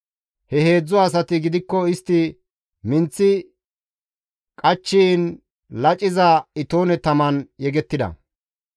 He heedzdzu asati gidikko istti minththi qachchiin laciza itoone taman yegettida.